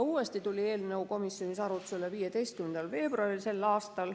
Uuesti tuli eelnõu komisjonis arutlusele 15. veebruaril s.